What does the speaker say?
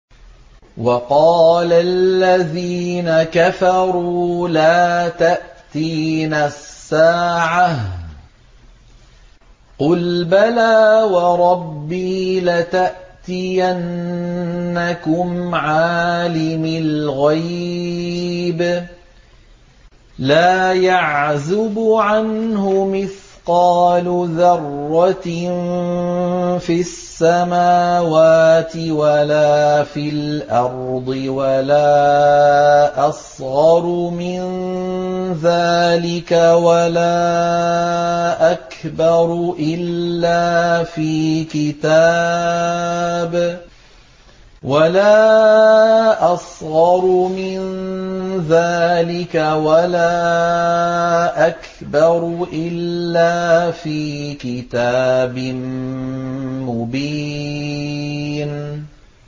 وَقَالَ الَّذِينَ كَفَرُوا لَا تَأْتِينَا السَّاعَةُ ۖ قُلْ بَلَىٰ وَرَبِّي لَتَأْتِيَنَّكُمْ عَالِمِ الْغَيْبِ ۖ لَا يَعْزُبُ عَنْهُ مِثْقَالُ ذَرَّةٍ فِي السَّمَاوَاتِ وَلَا فِي الْأَرْضِ وَلَا أَصْغَرُ مِن ذَٰلِكَ وَلَا أَكْبَرُ إِلَّا فِي كِتَابٍ مُّبِينٍ